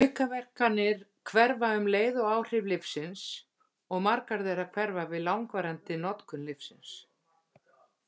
Aukaverkanir hverfa um leið og áhrif lyfsins, og margar þeirra hverfa við langvarandi notkun lyfsins.